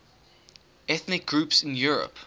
ethnic groups in europe